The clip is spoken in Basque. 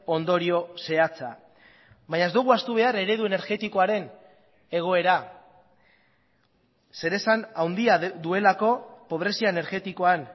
ondorio zehatza baina ez dugu ahaztu behar eredu energetikoaren egoera zeresan handia duelako pobrezia energetikoan